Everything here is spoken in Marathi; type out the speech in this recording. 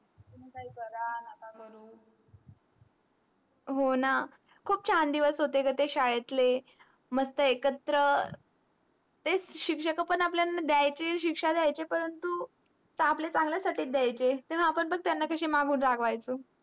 हो ना खूप चान दिवस होते ग ते शाडेतले मस्त एकत्र तेच सिक्सक पण आपल्यांना द्यायचे सिक्सा द्यायचे पण आपल्या चांगल्या साठी द्यायचे तेतून आपण पण मागून कासयाला राग्वाय्चो.